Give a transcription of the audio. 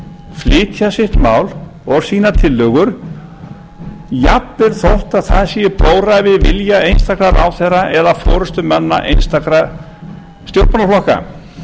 flytja sitt mál og sínar tillögur jafnvel þó það sé í blóra við vilja einstakra ráðherra eða forustumanna einstakra stjórnmálaflokka